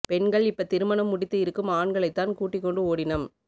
பெண்கள் இப்ப திருமணம் முடித்து இருக்கும் ஆண்களைத் தான் கூட்டிக் கொண்டு ஓடினம்